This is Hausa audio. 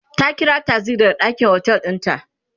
ta ƙira taksi daga ɗakin otel ɗin ta